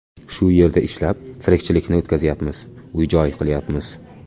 Shu yerda ishlab, tirikchilikni o‘tkazyapmiz, uy joy qilyapmiz.